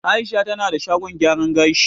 Aisha tana da shagon gyaran gashi